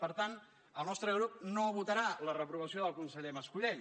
per tant el nostre grup no votarà la reprovació del conseller mas colell